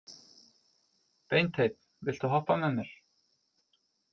Beinteinn, viltu hoppa með mér?